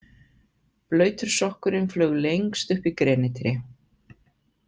Blautur sokkurinn flaug lengst upp í grenitré.